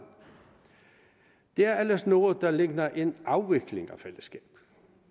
det er ellers noget der ligner en afvikling af fællesskabet